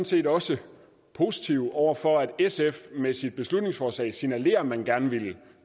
set også positive overfor at sf med sit beslutningsforslag signalerer at man gerne vil